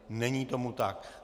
Není tomu tak.